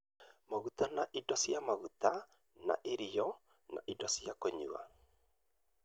maguta na indo cia maguta na irio na indo cia kũnyua